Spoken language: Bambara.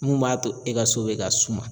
Mun b'a to e ka so bɛ ka suma.